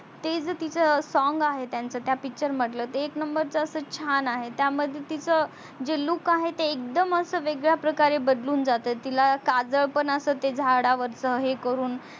ते जे तीच song आहे त्यांच त्या picture मधल एक नंबरच अस छान आहे त्या मध्ये तीच जे look आहे ते एकदम अस वेगळ्या प्रकारे बदलून जातो तिला काजळ पण असत ते झाड वरच ते हे करून